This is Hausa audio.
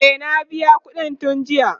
e na biya ƙuɗin tun jiya